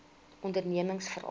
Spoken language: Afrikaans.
ondernemingsveral